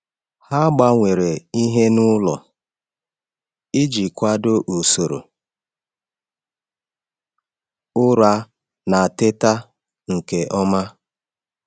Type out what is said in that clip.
Ha gbanwere ìhè n’ụlọ iji kwado usoro ụra na teta nke ọma.